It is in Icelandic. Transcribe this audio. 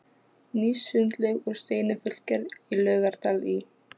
Ný sundlaug úr steini fullgerð í Laugardal í